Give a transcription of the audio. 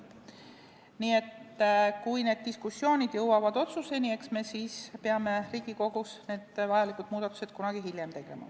Nii et kui need diskussioonid jõuavad otsuseni, eks me siis peame Riigikogus tegema vajalikud muudatused kunagi hiljem.